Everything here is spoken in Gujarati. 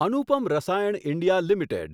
Anupam Rasayan India limited